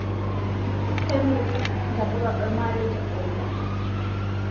Kemirii ntapuka olmarei te faida